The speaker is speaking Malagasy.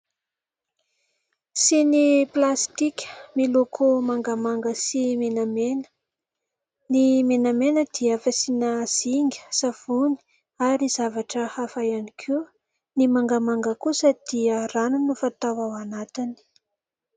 Siny plastika miloko mangamanga sy menamena ny menamena dia fasina zinga savony ary zavatra hafa ihany koa ny mangamanga kosa dia rano no fatao ao anatiny